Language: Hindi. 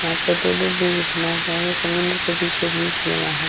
यहाँ पे दो-दो बिल बना हुआ है समुद्र के बीचो-बीच बना हुआ है ।